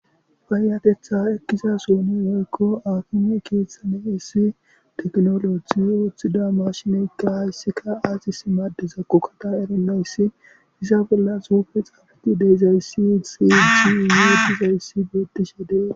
Payyatheththaa ekkiza sohoni woykko haakime keeththani heyssi ooththida maashineekka qasika ayzissi madizakko tha erennayssi iza bolla tsuufethikka de7izayssinne beethizayssi beeththishe de7es.